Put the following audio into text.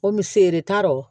O mise tao